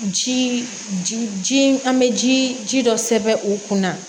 Ji ji an bɛ ji ji dɔ sɛbɛn u kunna